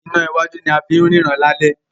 iná wájú ní a fín ríran lalẹ́